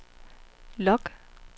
log